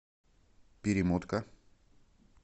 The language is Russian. перемотка